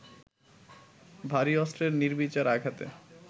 ভারী অস্ত্রের নির্বিচার আঘাতে